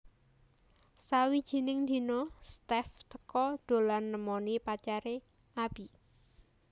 Sawijining dina Steff teka dolan nemoni pacare Abby